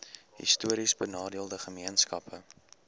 histories benadeelde gemeenskappe